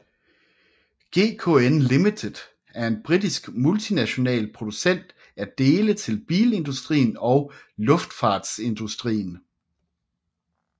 GKN Ltd er en britisk multinational producent af dele til bilindustrien og luftfartsindustrien